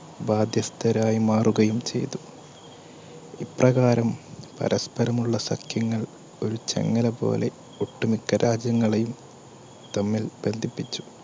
ബാധ്യസ്ഥരായി മാറുകയും ചെയ്തു. ഇപ്രകാരം പരസ്പരമുള്ള സഖ്യങ്ങൾ ഒരു ചങ്ങല പോലെ ഒട്ടുമിക്ക രാജ്യങ്ങളെയും തമ്മിൽ ബന്ധിപ്പിച്ചു.